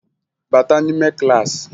Bata n'ime klaasị!